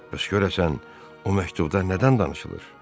Bəs görəsən o məktubda nədən danışılır?